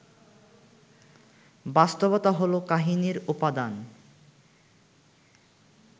বাস্তবতা হলো কাহিনির উপাদান